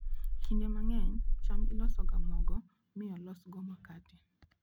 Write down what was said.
Kinde mang'eny, cham ilosoga mogo mi olosgo makate.